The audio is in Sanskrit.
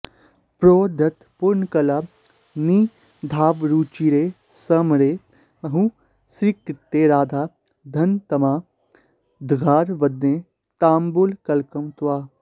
प्रोद्यत्पूर्णकलानिधावरुचिरे स्मेरे मुहुःसीत्कृते राधा धन्यतमा दधार वदने ताम्बूलकल्कं तव